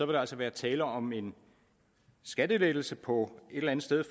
der altså være tale om en skattelettelse på et eller andet sted